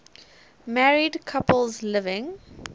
married couples living